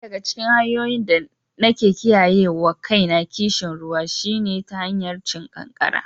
Daya daga cikin hanyoyin da nake kiyayewa kaina kishin ruwa shine ta hanyar cin kankana.